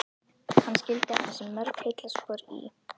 Hann skildi eftir sig mörg heillaspor í